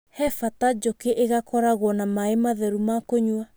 He bata njũkĩ igakorwo na maaĩ matheru ma kũnyua.